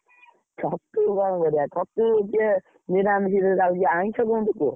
ଛତୁ ବଢିଆ ଛତୁ ଯିଏ, ନିରାମିରେ ଯାଉଛି ଆଇଁଷ କଣ କୁହ।